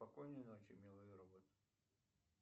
спокойной ночи милый робот